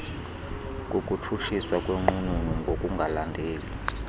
kukutshutshiswa kwenqununu ngokungalandeli